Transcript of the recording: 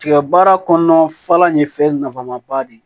Tigɛ baara kɔnɔna fɔlan ye fɛn nafama ba de ye